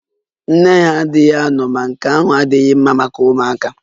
Nne ha adịghị ano ma nke ahụ adịghị mma maka ụmụaka